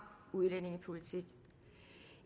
udlændingepolitik